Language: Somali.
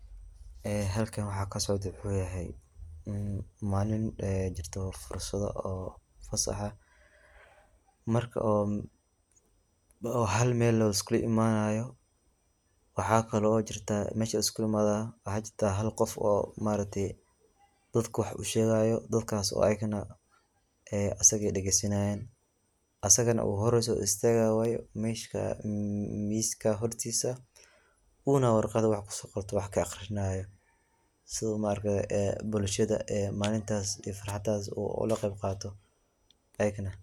Ee xalkan waxa kasocda wuxu yaxaya, in malin aya jirto oo fasaxa ah, marki oo xalmel liskulaimanayo, waxa kalo jirta mesha kiskulaimado, waxa jirta xal gof oo maarakte dadka wax ushegayo, dadkas oo ayagana ee asaga dageysanayan, asagana uu xor usoistagayo mesha miska xortisa, una wargat wax kusogorte wax kaaqrinayo, sidha maarakte bulshada een malintas farhadas uu olagebqato ayagana.